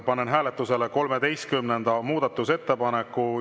Panen hääletusele 13. muudatusettepaneku.